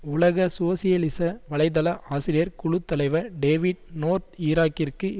உலக சோசியலிச வலைத்தள ஆசிரியர் குழு தலைவர் டேவிட் நோர்த் ஈராக்கிற்கு